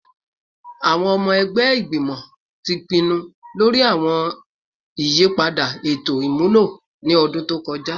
Awọn ọmọ ẹgbẹ Igbimọ ti pinnu lori awọn iyipada eto imulo ni ọdun to kọja